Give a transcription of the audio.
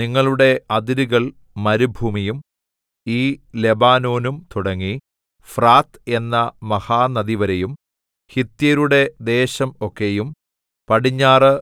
നിങ്ങളുടെ അതിരുകൾ മരുഭൂമിയും ഈ ലെബാനോനും തുടങ്ങി ഫ്രാത്ത് എന്ന മഹാനദിവരെയും ഹിത്യരുടെ ദേശം ഒക്കെയും പടിഞ്ഞാറ്